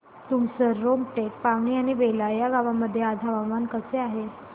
तुमसर रामटेक पवनी आणि बेला या गावांमध्ये आज हवामान कसे आहे